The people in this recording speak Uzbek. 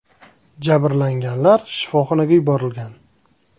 Jabrlanganlar shifoxonalarga yuborilgan.